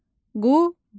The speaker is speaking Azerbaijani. Qubadlı.